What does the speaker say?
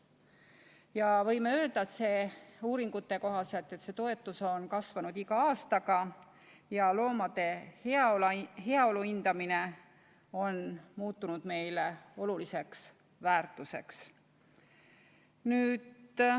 Ja võime öelda, et uuringute kohaselt see toetus on kasvanud iga aastaga ja loomade heaolu on muutunud meile oluliseks väärtuseks.